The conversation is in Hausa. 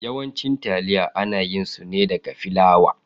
Yawancin taliya ana yin su ne daga flawa.